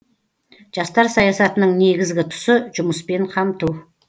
жастар саясатының негізгі тұсы жұмыспен қамту